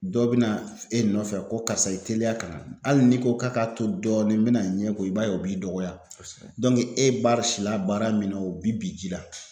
Dɔ be na e nɔfɛ ko karisa i teliya ka na ali ni ko k'a k'a to dɔɔnin n mena n ɲɛ ko i b'a ye o b'i dɔgɔya dɔɔnku e bari sila baara min na o bi bi ji la